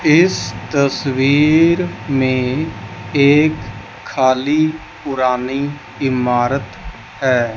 इस तस्वीर में एक खाली पुरानी इमारत है।